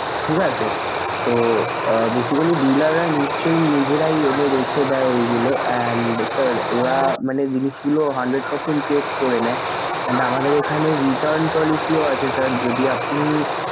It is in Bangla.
ঠিক আছে sir. তো basically dealer রা নিশ্চয়ই নিজেরাই এদের রেখে দেয় ঐগুলো and sir ওরা মানে জিনিসগুলো hundred percent check করে নেয় and আমাদের এখানে return policy ও আছে sir যদি আপনি,